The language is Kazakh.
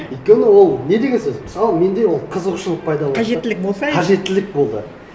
өйткені ол не деген сөз мысалы менде ол қызығушылық пайда болды қажеттілік болса қажеттілік болды